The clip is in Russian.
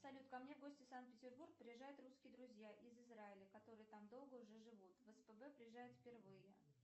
салют ко мне в гости в санкт петербург приезжают русские друзья из израиля которые там долго уже живут в спб приезжают впервые